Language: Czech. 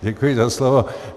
Děkuji za slovo.